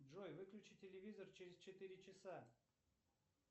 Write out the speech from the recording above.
джой выключи телевизор через четыре часа